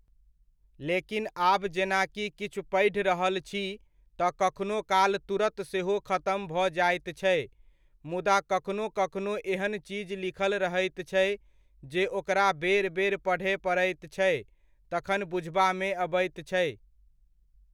लेकिन आब जेनाकि किछु पढ़ि रहल छी, तऽ कखनो काल तुरत सेहो खतम भऽ जाइत छै, मुदा कखनो कखनो एहन चीज लिखल रहैत छै, जे ओकरा बेर बेर पढ़य पड़ैत छै, तखन बुझबामे अबैत छै।